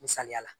Misaliyala